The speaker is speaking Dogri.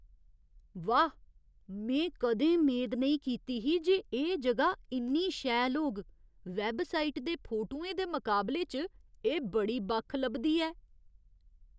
वाह् ! में कदें मेद नेईं कीती ही जे एह् जगह इन्नी शैल होग। वैबसाइट दे फोटुएं दे मकाबले च एह् बड़ी बक्ख लभदी ऐ।